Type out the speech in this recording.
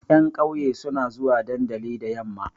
Ƴan ƙauye suna zuwa dandali da yamma.